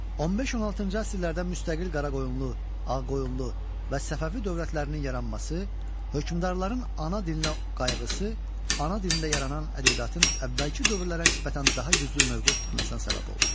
15-16-cı əsrlərdə müstəqil Qaraqoyunlu, Ağqoyunlu və Səfəvi dövlətlərinin yaranması, hökmdarların ana dilinə qayğısı, ana dilində yaranan ədəbiyyatın əvvəlki dövrlərə nisbətən daha güclü mövqe tutmasına səbəb oldu.